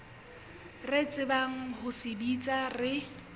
re tsebang ho sebetsa re